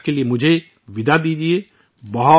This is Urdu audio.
تب تک میں آپ سے رخصت لیتا ہوں